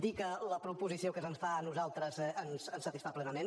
dir que la proposició que se’ns fa a nosaltres ens satisfà plenament